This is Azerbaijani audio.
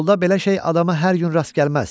Yolda belə şey adama hər gün rast gəlməz.